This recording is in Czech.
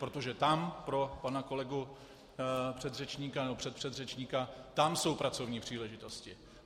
Protože tam - pro pana kolegu předřečníka nebo předpředřečníka - tam jsou pracovní příležitosti.